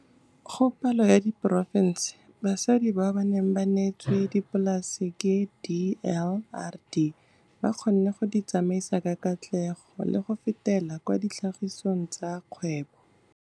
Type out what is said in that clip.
Go palo ya diporofense, basadi bao ba neng ba neetswe dipolase ke DLRD ba kgonne go di tsamaisa ka katlego le go fetela kwa tlhagisong ya kgwebo.